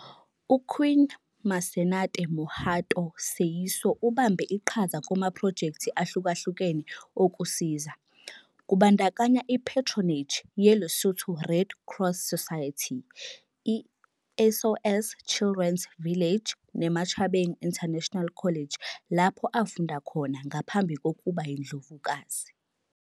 UQueen 'Masenate Mohato Seeiso ubambe iqhaza kumaphrojekthi ahlukahlukene okusiza, kubandakanya iPatronage yeLesotho Red Cross Society, iSOS Children's Village, neMachabeng International College lapho afunda khona ngaphambi kokuba yiNdlovukazi.